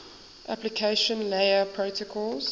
application layer protocols